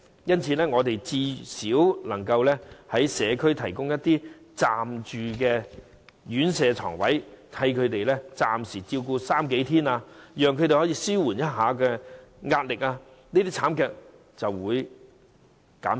因此，當局最少可以在社區提供一些暫住院舍床位，為他們暫時照顧長者三數天，稍稍紓緩他們的壓力，這些慘劇便會減少。